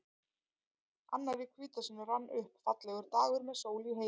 Annar í hvítasunnu rann upp, fallegur dagur með sól í heiði.